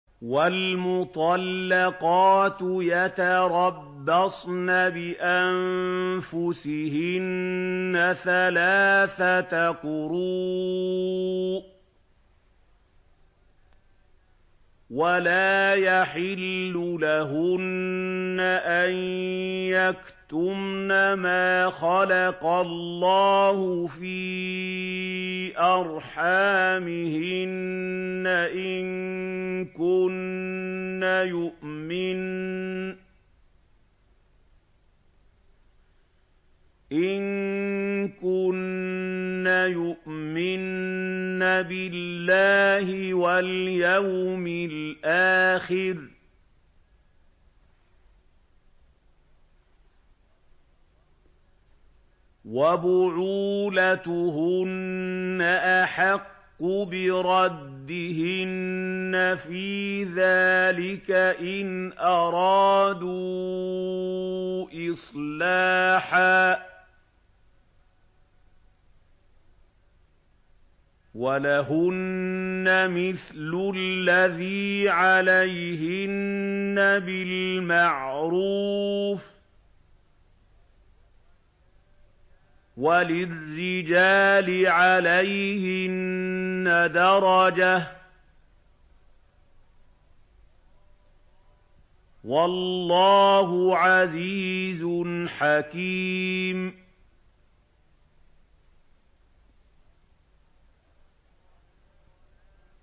وَالْمُطَلَّقَاتُ يَتَرَبَّصْنَ بِأَنفُسِهِنَّ ثَلَاثَةَ قُرُوءٍ ۚ وَلَا يَحِلُّ لَهُنَّ أَن يَكْتُمْنَ مَا خَلَقَ اللَّهُ فِي أَرْحَامِهِنَّ إِن كُنَّ يُؤْمِنَّ بِاللَّهِ وَالْيَوْمِ الْآخِرِ ۚ وَبُعُولَتُهُنَّ أَحَقُّ بِرَدِّهِنَّ فِي ذَٰلِكَ إِنْ أَرَادُوا إِصْلَاحًا ۚ وَلَهُنَّ مِثْلُ الَّذِي عَلَيْهِنَّ بِالْمَعْرُوفِ ۚ وَلِلرِّجَالِ عَلَيْهِنَّ دَرَجَةٌ ۗ وَاللَّهُ عَزِيزٌ حَكِيمٌ